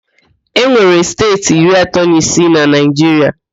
E nwere steeti iri atọ na isii na Naịjiria